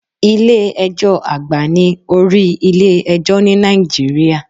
Ilé ẹjọ́ àgbà ni orí ilé ẹjọ́ ní Nàìjíríà.